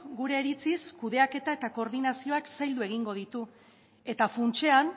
gure iritziz kudeaketa eta koordinazioak zaildu egingo ditu eta funtsean